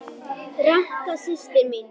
Ranka systir mín.